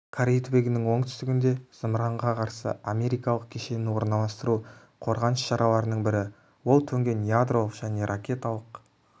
корей түбегінің оңтүстігінде зымыранға қарсы америкалық кешенін орналастыру қорғаныс шараларының бірі ол төнген ядролық және ракеталық